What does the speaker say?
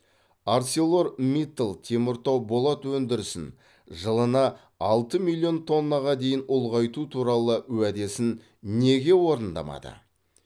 арселормиттал теміртау болат өндірісін жылына алты миллион тоннаға дейін ұлғайту туралы уәдесін неге орындамады